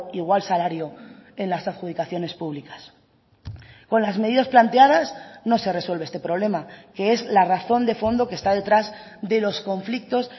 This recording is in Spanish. igual salario en las adjudicaciones públicas con las medidas planteadas no se resuelve este problema que es la razón de fondo que está detrás de los conflictos